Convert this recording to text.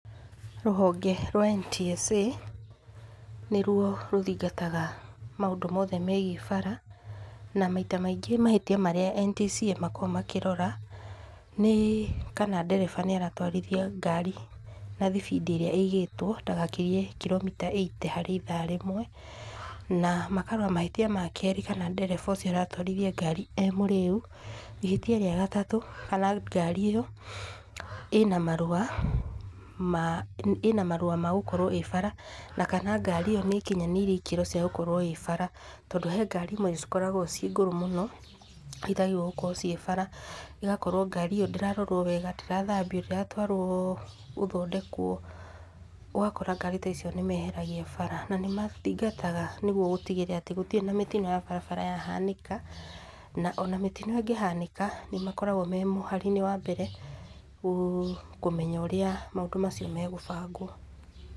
Rũhonge rwa NTSA nĩruo rũthitangaga maũndũ mothe megiĩ bara na maita maingĩ mahĩtia marĩa NTSA makoragwo makĩrora nĩ kana ndereba nĩ aratwarithia ngari na thibindi ĩrĩa igĩtwo ndagakĩrie kiromita ĩite harĩ ithaa rĩmwe na makarora mahĩtia makere kana ndereba ũcio aratwarithia ngari e mũrĩu, ihĩtia rĩa gatatũ kana ngari ĩo ĩna marũa ma gũkorwo ĩ bara kana ngari ĩo nĩikinyanĩiriĩ ikĩrwo cia gũkorwo ĩ bara. Tondũ he ngari imwe cikoragwo ciĩ ngũrũ mũno itagĩrĩirwo gũkorwo ciĩ bara. ĩgakorwo ngari ĩo ndĩrarorwo wega, ndĩrathambio, ndĩratwarwo gũthondekwo, ũgakora ngari ta icio nĩmeheragia bara nĩ mathingataga nĩguo gũtigĩrĩra gũtirĩ mĩtino ya barabara ya hanĩka ona mĩtino ĩngĩhanĩka nĩ makoragwo memũhari- inĩ wa mbere kũmenya ũrĩa maũndũ macio megũbangwo.